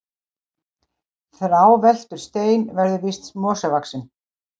Þráveltur stein verður síst mosavaxinn.